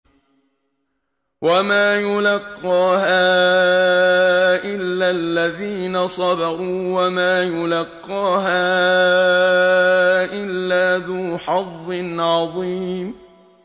وَمَا يُلَقَّاهَا إِلَّا الَّذِينَ صَبَرُوا وَمَا يُلَقَّاهَا إِلَّا ذُو حَظٍّ عَظِيمٍ